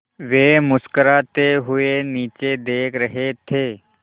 वे मुस्कराते हुए नीचे देख रहे थे